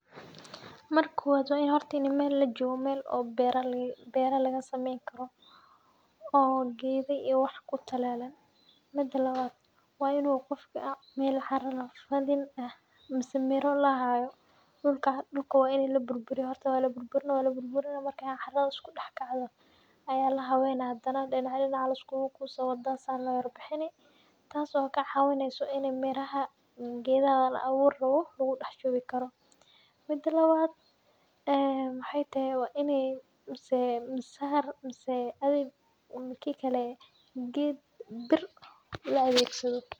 Marka kowad wa in horta mel lajogo mel bera lagasameyn karo oo geda iyo wax kutalalan. Mida lawad wa in uu qofka aa mel cara lagaqadin mise miro lahayo dulka wa in laburburiyaah walburburinaah carada iskudax kacdo aa hadana lahabeynaah , dican dinac aa liskugukusah , wada aa san lo yar bixini, tas oo kacawineyso in i miraha gedaha laawuri rawo lagudax shubi karo . Mida lawad waxay tahay kikale ged bir laadegsado.